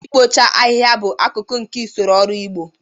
Ikpocha ahịhịa bụ akụkụ nke usoro ọrụ ugbo